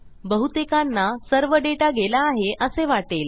बहुतेकांना सर्व डेटा गेला आहे असे वाटेल